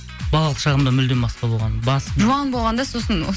балалық шағымда мүлдем басқа болған жуан болған да сосын